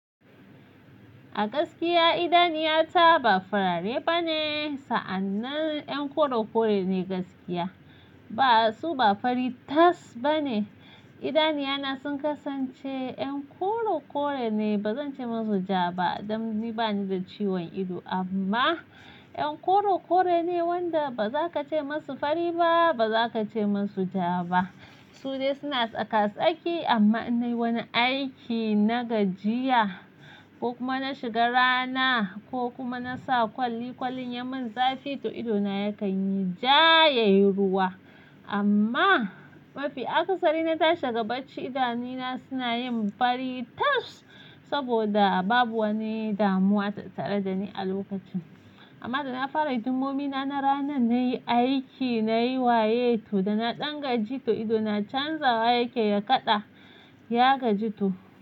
A gaskiya idaniyata ba farare bane, sa'annan 'yan kore kore ne gaskiya. Ba su ba fari tas bane. Idaniyana sun kasance 'yan koro kore ne, ba zan ce musu ja ba, dan ni bani da ciwon ido amma 'yan koro kore ne wanda ba za ka ce musu fari ba, ba za ka ce musu ja ba. Su dai suna tsaka-tsaki amma in na yi wani aiki na gajiya ko kuma na shiga rana ko kuma na sa kwali-kwalin ya mun zafi to idona ya kan yi jayayruwa. Amma mafi akasari na tashi daga bacci idanona suna yin fari tas saboda babu wani damuwa ta tare da ni a lokacin. Amma da na fara hidimomina na ranan na yi aiki, na yi waye to da na ɗan gaji to idona canza wa yakeyi ya kaɗa, ya gaji to.